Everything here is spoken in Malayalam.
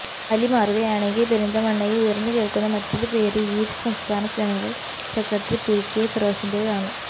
അലി മാറുകയാണെങ്കിൽ പെരിന്തമണ്ണയിൽ ഉയർന്ന് കേൾക്കുന്ന മറ്റൊരു പേര് യീത്ത് സംസ്ഥാന ജനറൽ സെക്രട്ടറി പികെ ഫിറോസിന്റേതാണ്